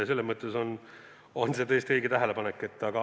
See on tõesti õige tähelepanek.